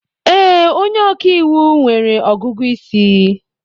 Ee, onye ọkàiwu nwere ọgụgụ isi.